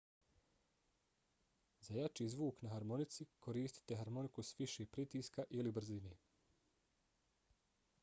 za jači zvuk na harmonici koristite harmoniku s više pritiska ili brzine